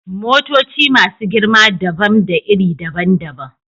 Motoci masu girma dabam da iri daban-daban.